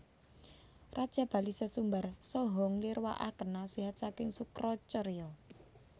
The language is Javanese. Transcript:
Raja Bali sesumbar saha nglirwakaken nasihat saking Sukracarya